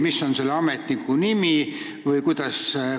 Mis on selle ametniku nimi?